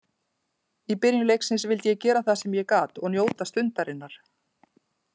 Í byrjun leiksins vildi ég gera það sem ég gat og njóta stundarinnar.